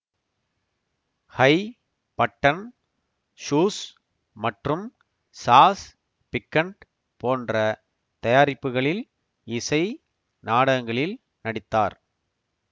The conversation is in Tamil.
ஹை பட்டன் ஷூஸ் மற்றும் சாஸ் பிக்கண்ட் போன்ற தயாரிப்புகளில் இசை நாடகங்களில் நடித்தார்